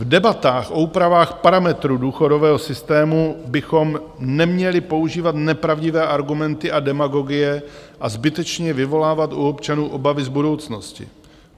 V debatách o úpravách parametrů důchodového systému bychom neměli používat nepravdivé argumenty a demagogie a zbytečně vyvolávat u občanů obavy z budoucnosti.